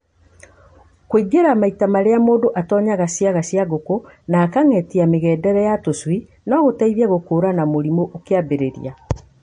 Kũingĩhia maita marĩa mũndũ atonyaga ciaga cia ngũkũ na akang'etia mĩgendere ya tũcui no gũteithie gũkũranaga mũrimũ ũkiambĩrĩria.